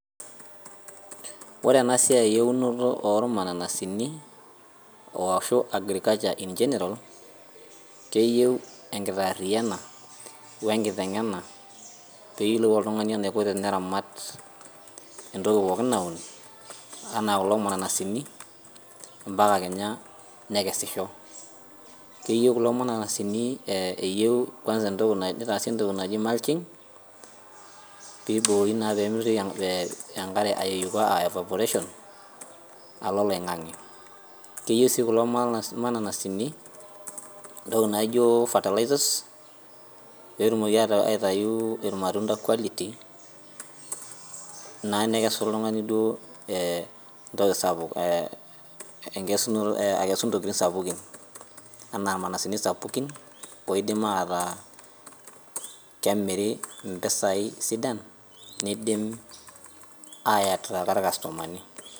Ore enasiai ewunoto ormananasini ashu agriculture in general keyieu enkitariyiana wee nkitengena pee eyiolou oltung'ani enaiko temeramat entoki pookin naun enaa kulo mananasini mbaka kenyaa nekesisho keyieu kulo mananasini nitaasi entoki naaji mulching pee ebori mitoki enkare evaporate alo oloingange keyieu sii kulo mananasini entoki naijio fertilizers peetum aitayu irmatunda quality naa nekesu oltung'ani entokitin sapukin ena irmananasini sapukinoidim ataa kemiri mpisai sidan nidim ayatraka irkastomani